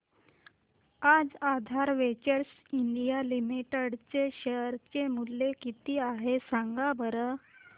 आज Aadhaar ventures India limited चे share चे मूल्य किती आहे सांगा बरं